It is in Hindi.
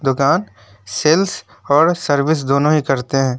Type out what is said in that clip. दुकान सेल्स और सर्विस दोनों ही करते हैं।